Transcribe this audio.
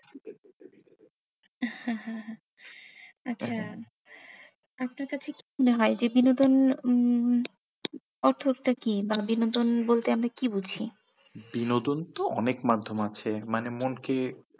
আচ্ছা আপনার কাছে কি মনে হয়, যে বিনোদন উম উম অর্থ টা কি বা বিনোদন বলতে আমি কি বুঝি বিনোদন তো অনেক মাধ্যম আছে। মানে মনকে,